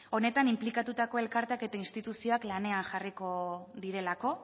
honetan inplikatutako elkarteak eta instituzioak lanean jarriko direlako